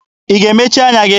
Ị ga-emechi anya gị?